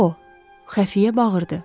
O, Xəfiyə bağırdı.